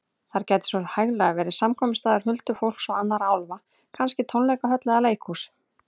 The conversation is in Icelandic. Þar gæti svo hæglega verið samkomustaður huldufólks og annarra álfa, kannski tónleikahöll eða leikhús.